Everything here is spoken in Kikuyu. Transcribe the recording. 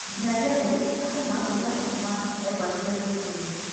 Nginyagia rĩu Fatuma timũrĩhe kũma egwatĩire thũmbĩ ĩyo